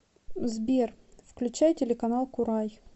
сбер включай телеканал курай